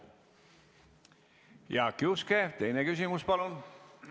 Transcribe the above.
Jaak Juske, teine küsimus, palun!